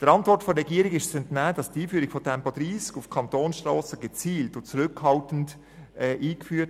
Der Antwort der Regierung ist zu entnehmen, dass die Einführung von Tempo 30 gezielt und zurückhaltend erfolgt.